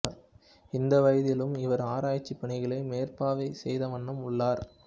இந்த வயதிலும் இவர் ஆராய்ச்சிப் பணிகளை மேற்பார்வை செய்தவண்ணம் உள்ளார்